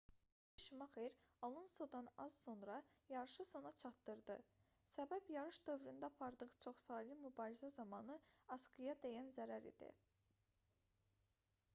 mixayel şumaxer alonsodan az sonra yarışı sona çatdırdı səbəb yarış dövründə apardığı çoxsaylı mübarizə zamanı asqıya dəyən zərər idi